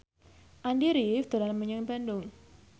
Andy rif dolan menyang Bandung